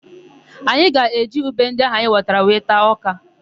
Anyị ga-eji ube ndị áhụ̀ anyị ghọtara wee taa ọ́kà.